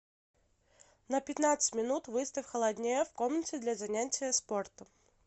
на пятнадцать минут выставь холоднее в комнате для занятия спортом